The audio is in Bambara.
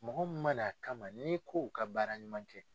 Mɔgɔ mun ma na a kama n'i k'o ka baaraɲuman kɛ..